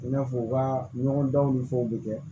I n'a fɔ u ka ɲɔgɔndɔw ni fɛnw bɛ kɛ